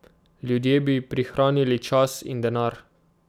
Ljudje bi prihranili čas in denar.